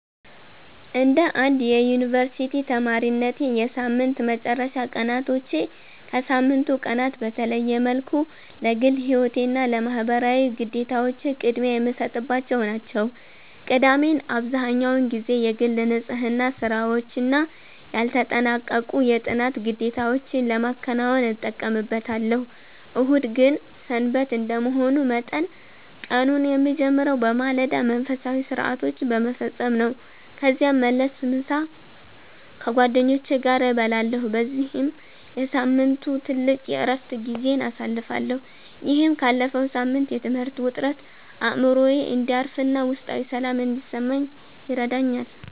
እንደ አንድ የዩኒቨርሲቲ ተማሪነቴ፣ የሳምንት መጨረሻ ቀናቶቼ ከሳምንቱ ቀናት በተለየ መልኩ ለግል ሕይወቴና ለማኅበራዊ ግዴታዎቼ ቅድሚያ የምሰጥባቸው ናቸው። ቅዳሜን አብዛህኛውን ጊዜ የግል ንጽሕና ሥራዎችና ያልተጠናቀቁ የጥናት ግዴታዎቼን ለማከናወን እጠቀምበታለሁ። እሁድ ግን "ሰንበት" እንደመሆኑ መጠን፣ ቀኑን የምጀምረው በማለዳ መንፈሳዊ ሥርዓቶችን በመፈጸም ነው። ከዚያም መልስ፣ ምሳ ከጓደኞቼ ጋር እበላለሁ በዚህም የሳምንቱ ትልቁ የዕረፍት ጊዜዬን አሳልፋለሁ። ይህም ካለፈው ሳምንት የትምህርት ውጥረት አእምሮዬ እንዲያርፍና ውስጣዊ ሰላም እንዲሰማኝ ይረዳኛል።